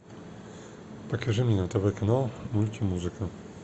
покажи мне на тв канал мультимузыка